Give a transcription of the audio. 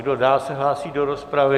Kdo dál se hlásí do rozpravy?